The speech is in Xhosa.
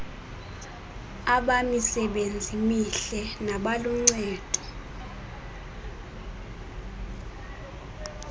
abamisebenzi mihle nabaluncedo